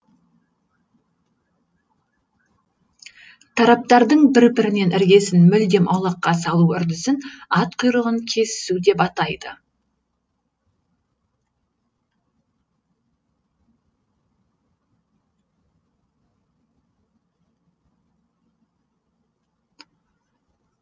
тараптардың бір бірінен іргесін мүлдем аулаққа салу үрдісін ат құйрығын кесісу деп атайды